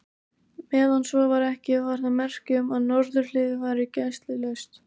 Meðan svo var ekki, var það merki um, að norðurhliðið væri gæslulaust.